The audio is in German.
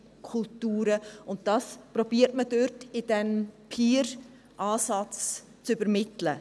Man versucht, das mit diesem Peer-Ansatz zu übermitteln.